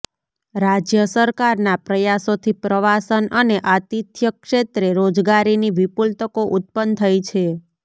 રાજ્ય સરકારના પ્રયાસોથી પ્રવાસન અને આતિથ્ય ક્ષેત્રે રોજગારીની વિપુલ તકો ઉત્પન્ન થઈ છે